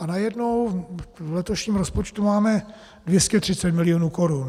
A najednou v letošním rozpočtu máme 230 milionů korun.